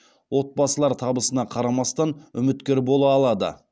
отбасылар табысына қарамастан үміткер бола алады